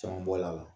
Caman bɔ la